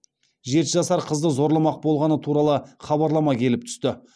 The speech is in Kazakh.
жеті жасар қызды зорламақ болғаны туралы хабарлама келіп түсті